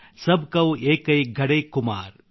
ಸಬಕೌ ಏಕೈ ಘಡೈ ಕುಮ್ಹಾರ್